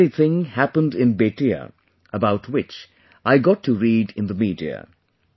This very thing happened in Bettiah, about which I got to read in the media